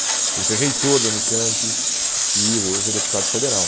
Ele foi reitor da Unicamp e hoje é deputado federal.